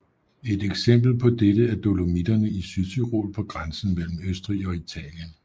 Et eksempel på dette er Dolomitterne i Sydtyrol på grænsen mellem Østrig og Italien